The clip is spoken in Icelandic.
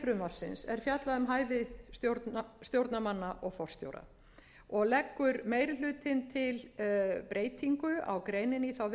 er fjallað um hæfi stjórnarmanna og forstjóra og leggur meiri hlutinn til breytingu á greininni